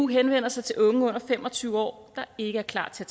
henvender sig til unge under fem og tyve år der ikke er klar til